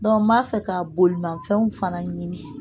n b'a fɛ ka bolimafɛnw fana ɲini